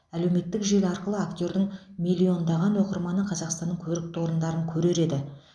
әлеуметтік желі арқылы актердің миллиондаған оқырманы қазақстанның көрікті орындарын көрер еді